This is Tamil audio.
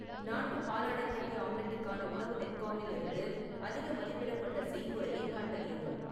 நான்கு பாலாடைக்கட்டி ஆம்லெட்டுக்கான உணவு நெட்க்காமில் இருந்து அதிக மதிப்பிடப்பட்ட செய்முறையை கண்டறியவும்